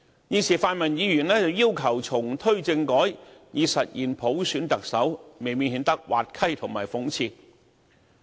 現時泛民議員卻要求重推政改以實現普選特首，未免顯得滑稽和諷刺。